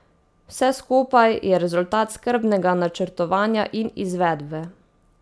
Vse skupaj je rezultat skrbnega načrtovanja in izvedbe.